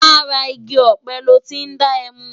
Làrá igi òpé lò ti n dá èmú